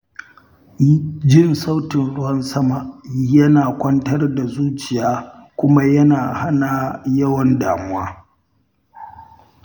Jin sautin ruwan sama yana kwantar da zuciya kuma yana hana yawan damuwa.